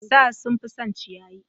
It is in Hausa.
Sa sun fi son ciyayi